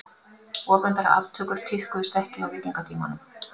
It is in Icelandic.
Opinberar aftökur tíðkuðust ekki á víkingatímanum.